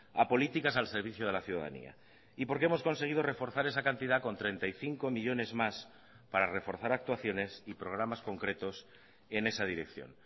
a políticas al servicio de la ciudadanía y porque hemos conseguido reforzar esa cantidad con treinta y cinco millónes más para reforzar actuaciones y programas concretos en esa dirección